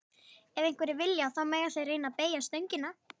Ef einhverjir vilja, þá mega þeir reyna að beygja stöngina.